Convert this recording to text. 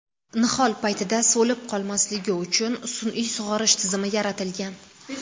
Nihol paytida so‘lib qolmasligi uchun sun’iy sug‘orish tizimi yaratilgan.